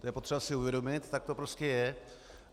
To je potřeba si uvědomit, tak to prostě je.